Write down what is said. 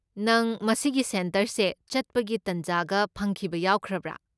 ꯅꯪ ꯃꯁꯤꯒꯤ ꯁꯦꯟꯇꯔꯁꯦ ꯆꯠꯄꯒꯤ ꯇꯥꯟꯖꯥꯒ ꯐꯪꯈꯤꯕ ꯌꯥꯎꯈ꯭ꯔꯕ꯭ꯔꯥ?